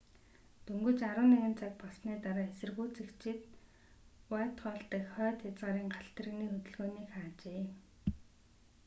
дөнгөж 11:00 цаг болсны дараа эсэргүүцэгчид уайтхолл дах хойд хязгаарын галт тэрэгний хөдөлгөөнийг хаажээ